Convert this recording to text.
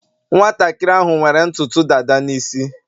nwantakịrị ahụ nwere ntutu dada n isi